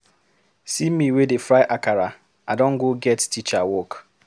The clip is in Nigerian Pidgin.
See me wey dey fry akara, I don go get teacher work.